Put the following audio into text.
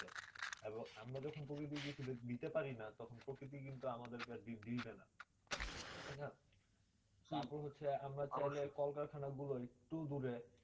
এবং আমরা যদি প্রকৃতি কে কিছু দিতে পারি না তখন প্রকৃতি কিন্তু আমাদের কে দিবে না তার পরে হলো আমরা কলকরখানা একটু দূরে